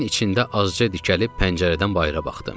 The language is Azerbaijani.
Yerimin içində azca dikəlib pəncərədən bayıra baxdım.